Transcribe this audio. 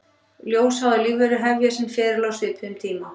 Ljósháðar lífverur hefja sinn feril á svipuðum tíma.